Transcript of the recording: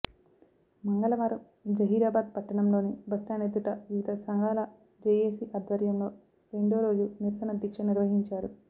మంగళవారం జహీరాబాద్ పట్టణంలోని బస్టాండ్ ఎదుట వివిధ సంఘాల జేఏసీ ఆధ్వర్యంలో రెండో రోజు నిరసన దీక్ష నిర్వహించారు